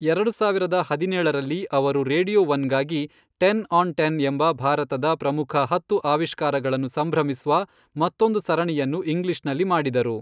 ಎರಡು ಸಾವಿರದ ಹದಿನೇಳರಲ್ಲಿ ಅವರು ರೇಡಿಯೊ ಒನ್ಗಾಗಿ 'ಟೆನ್ ಆನ್ ಟೆನ್',ಎಂಬ ಭಾರತದ ಪ್ರಮುಖ ಹತ್ತು ಆವಿಷ್ಕಾರಗಳನ್ನು ಸಂಭ್ರಮಿಸುವ ಮತ್ತೊಂದು ಸರಣಿಯನ್ನು ಇಂಗ್ಲಿಷ್ನಲ್ಲಿ ಮಾಡಿದರು.